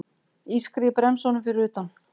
Ískrið í bremsunum fyrir utan.